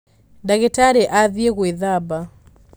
ndagītarī athiī gwīthamba.